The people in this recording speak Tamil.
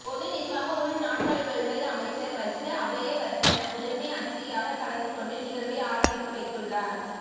பொது நிர்வாக உள்நாட்டலுவல்கள் அமைச்சர் வஜிர அபேயவர்தன முதன்மை அதிதியாக கலந்துகொண்டு நிகழ்வை ஆரம்பித்து வைத்துள்ளார்